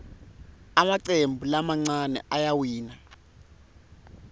emacembu lamancane ayawina